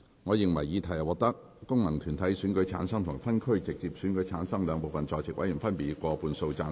我認為議題獲得經由功能團體選舉產生及分區直接選舉產生的兩部分在席委員，分別以過半數贊成。